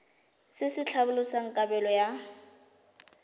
se se tlhalosang kabelo ya